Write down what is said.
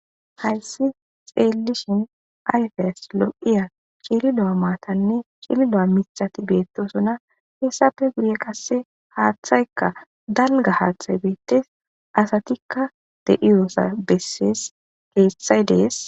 Haysan xelishen ayfes lo'iya c'lilo matane c'lilo mitati betosona heysape guye qase hathayka dalga hathay betes asatika de'iyo beses hezday dee'es.